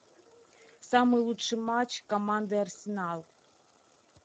самый лучший матч команды арсенал